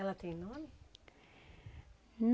Ela tem nome?